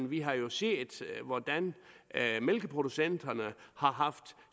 vi har jo set hvordan mælkeproducenterne har haft